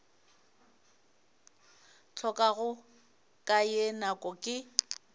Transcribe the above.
hlokago ka ye nako ke